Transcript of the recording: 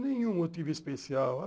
Nenhum motivo especial.